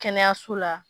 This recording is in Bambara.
Kɛnɛyaso la